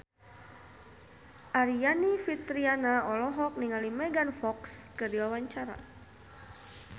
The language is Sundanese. Aryani Fitriana olohok ningali Megan Fox keur diwawancara